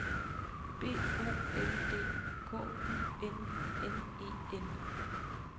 B O L D K U N N E N